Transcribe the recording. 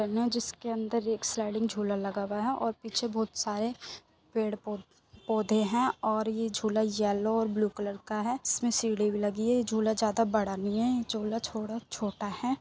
जिसके अंदर एक स्लाइडिंग झूला लगा हुआ है और पीछे बहुत सारे पेड़ पो पौधे है और ये झूला येलो और ब्लू कलर का है। इसमे सीढ़ी भी लगी है। ये झूला ज्यादा बड़ा नहीं है ये झूला थोड़ा छोटा है।